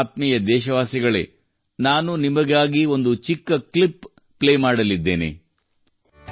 ಆತ್ಮೀಯ ದೇಶವಾಸಿಗಳೇ ನಾನು ನಿಮಗಾಗಿ ಒಂದು ಚಿಕ್ಕ ಕ್ಲಿಪ್ ಪ್ಲೇ ಮಾಡಲಿದ್ದೇನೆ